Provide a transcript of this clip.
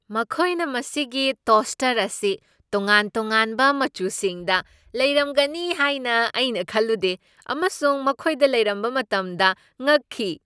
ꯃꯈꯣꯏꯅ ꯃꯁꯤꯒꯤ ꯇꯣꯁꯇꯔ ꯑꯁꯤ ꯇꯣꯉꯥꯟ ꯇꯣꯉꯥꯟꯕ ꯃꯆꯨꯁꯤꯡꯗ ꯂꯩꯔꯝꯒꯅꯤ ꯍꯥꯏꯅ ꯑꯩꯅ ꯈꯜꯂꯨꯗꯦ ꯑꯃꯁꯨꯡ ꯃꯈꯣꯏꯗ ꯂꯩꯔꯝꯕ ꯃꯇꯝꯗ ꯉꯛꯈꯤ꯫